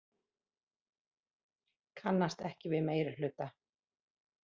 Kannast ekki við meirihluta